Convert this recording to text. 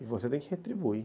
E você tem que retribuir.